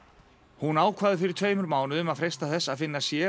hún ákvað fyrir tveimur mánuðum að freista þess að finna sér